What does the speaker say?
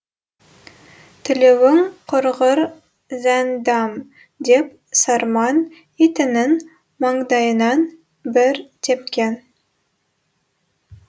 тілеуің құрғыр зәндәм деп сарман итінің маңдайынан бір тепкен